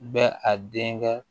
Bɛ a den kɛ